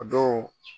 A dɔw